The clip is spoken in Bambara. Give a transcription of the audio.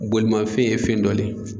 Bolimafɛn ye fɛn dɔ le